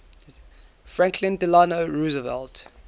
franklin delano roosevelt